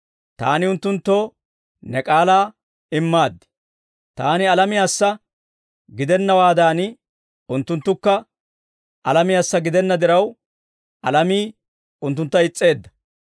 Taani unttunttoo ne k'aalaa immaaddi; Taani alamiyaassa gidennawaadan, unttunttukka alamiyaassa gidenna diraw, alamii unttuntta is's'eedda.